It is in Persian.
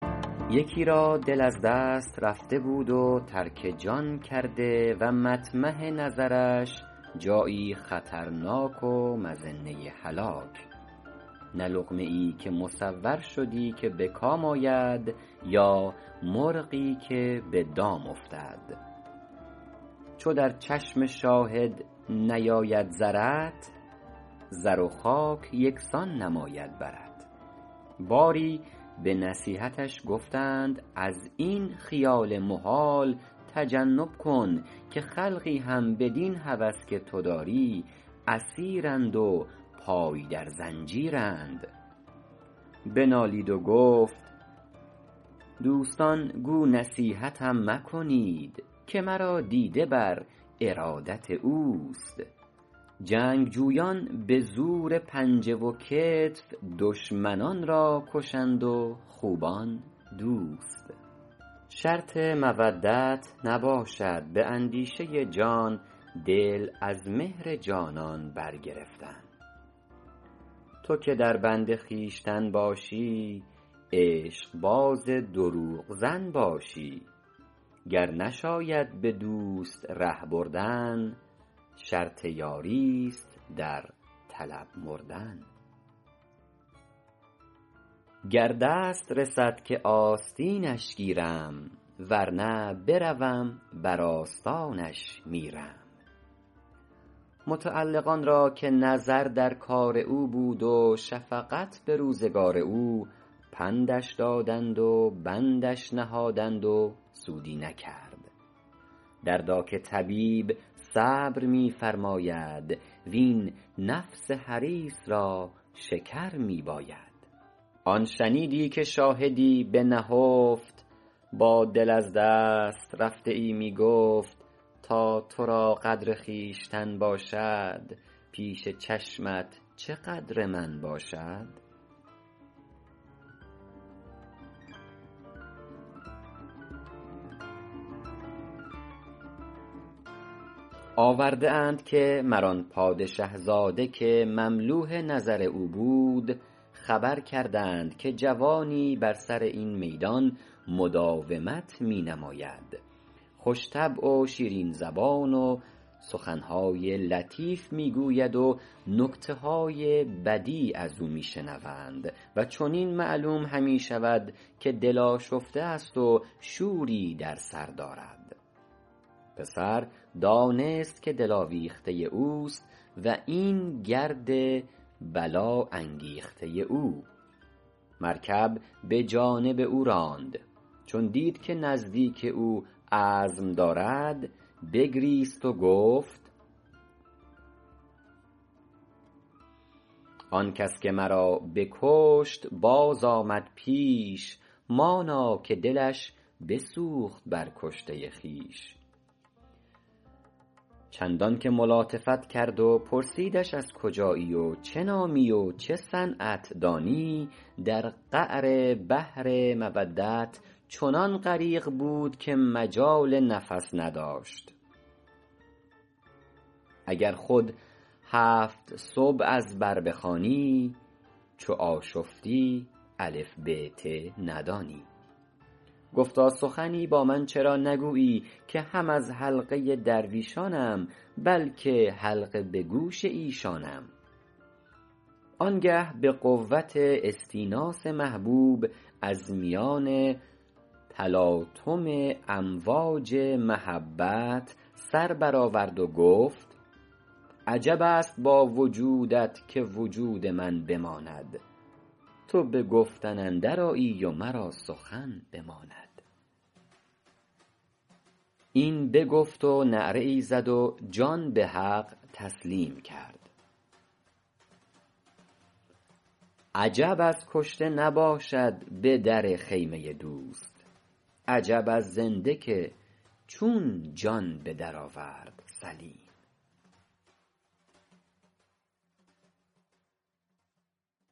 یکی را دل از دست رفته بود و ترک جان کرده و مطمح نظرش جایی خطرناک و مظنه هلاک نه لقمه ای که مصور شدی که به کام آید یا مرغی که به دام افتد چو در چشم شاهد نیاید زرت زر و خاک یکسان نماید برت باری به نصیحتش گفتند از این خیال محال تجنب کن که خلقی هم بدین هوس که تو داری اسیرند و پای در زنجیر بنالید و گفت دوستان گو نصیحتم مکنید که مرا دیده بر ارادت اوست جنگجویان به زور پنجه و کتف دشمنان را کشند و خوبان دوست شرط مودت نباشد به اندیشه جان دل از مهر جانان برگرفتن تو که در بند خویشتن باشی عشق باز دروغ زن باشی گر نشاید به دوست ره بردن شرط یاری است در طلب مردن گر دست رسد که آستینش گیرم ور نه بروم بر آستانش میرم متعلقان را که نظر در کار او بود و شفقت به روزگار او پندش دادند و بندش نهادند و سودی نکرد دردا که طبیب صبر می فرماید وین نفس حریص را شکر می باید آن شنیدی که شاهدی به نهفت با دل از دست رفته ای می گفت تا تو را قدر خویشتن باشد پیش چشمت چه قدر من باشد آورده اند که مر آن پادشه زاده که مملوح نظر او بود خبر کردند که جوانی بر سر این میدان مداومت می نماید خوش طبع و شیرین زبان و سخن های لطیف می گوید و نکته های بدیع از او می شنوند و چنین معلوم همی شود که دل آشفته است و شوری در سر دارد پسر دانست که دل آویخته اوست و این گرد بلا انگیخته او مرکب به جانب او راند چون دید که نزدیک او عزم دارد بگریست و گفت آن کس که مرا بکشت باز آمد پیش مانا که دلش بسوخت بر کشته خویش چندان که ملاطفت کرد و پرسیدش از کجایی و چه نامی و چه صنعت دانی در قعر بحر مودت چنان غریق بود که مجال نفس نداشت اگر خود هفت سبع از بر بخوانی چو آشفتی الف ب ت ندانی گفتا سخنی با من چرا نگویی که هم از حلقه درویشانم بلکه حلقه به گوش ایشانم آن گه به قوت استیناس محبوب از میان تلاطم امواج محبت سر برآورد و گفت عجب است با وجودت که وجود من بماند تو به گفتن اندر آیی و مرا سخن بماند این بگفت و نعره ای زد و جان به حق تسلیم کرد عجب از کشته نباشد به در خیمه دوست عجب از زنده که چون جان به در آورد سلیم